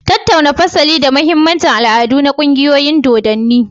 Tattauna fasali da mahimmancin al'adu na ƙungiyoyin dodanni